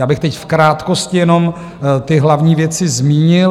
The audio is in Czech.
Já bych teď v krátkosti jenom ty hlavní věci zmínil.